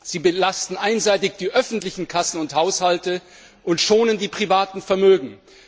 Sie belasten einseitig die öffentlichen Kassen und Haushalte und schonen die privaten Vermögen.